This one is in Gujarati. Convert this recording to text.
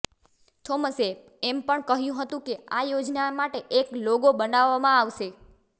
થોમસે એમ પણ કહ્યું હતું કે આ યોજના માટે એક લોગો બનાવવામાં આવશે